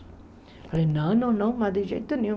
Eu falei, não, não, não, mas de jeito nenhum.